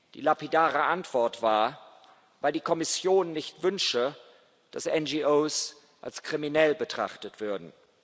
Die lapidare Antwort war Weil die Kommission nicht wünsche, dass NGOs als kriminell betrachtet würden.